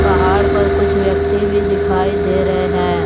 पहाड़ पर कुछ व्यक्ति भी दिखाई दे रहे हैं।